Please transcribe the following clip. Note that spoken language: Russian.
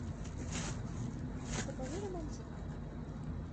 покажи романтик